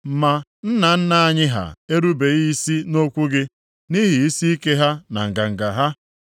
“Ma nna nna anyị ha erubeghị isi nʼokwu gị, nʼihi isiike ha na nganga ha.